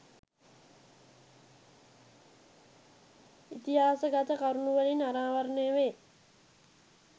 ඉතිහාසගත කරුණුවලින් අනාවරණය වේ.